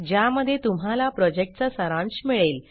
ज्यामध्ये तुम्हाला प्रॉजेक्टचा सारांश मिळेल